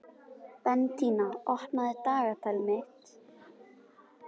Bentína, opnaðu dagatalið mitt.